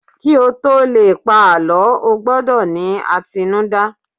ki o to Le pa àlọ, o gbọdọ ni atinuda